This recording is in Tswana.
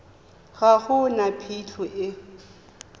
ga go na phitlho e